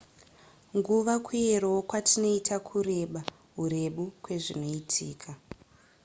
nguva kuyerawo kwatinoita kureba hurebu kwezvinoitika